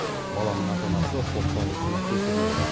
баланың ата анасы сотталушыны кешірмеді